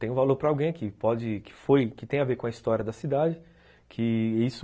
Tem um valor para alguém que tem a ver com a história da cidade, que isso